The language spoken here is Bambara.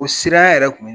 O sira yɛrɛ kun ye